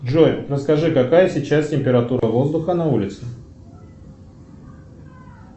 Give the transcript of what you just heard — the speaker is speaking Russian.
джой расскажи какая сейчас температура воздуха на улице